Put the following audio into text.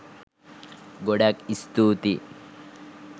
ගොඩාක් ස්තුතියි